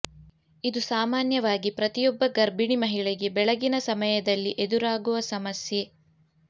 ಇದು ಸಾಮಾನ್ಯವಾಗಿ ಪ್ರತಿಯೊಬ್ಬ ಗರ್ಭಿಣಿ ಮಹಿಳೆಗೆ ಬೆಳಗಿನ ಸಮಯದಲ್ಲಿ ಎದುರಾಗುವ ಸಮಸ್ಯೆ